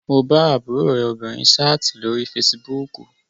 Mo bá àbúrò rẹ obìnrin sáàtì lórí fesibúùkù